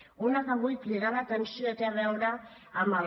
una sobre la qual vull cridar l’atenció té a veure amb el